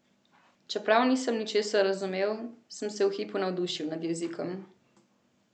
Čeprav nisem ničesar razumel, sem se v hipu navdušil nad jezikom.